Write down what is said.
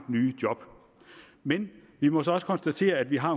nye job men vi må så også konstatere at vi har